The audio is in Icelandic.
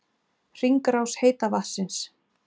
Hringrás heita vatnsins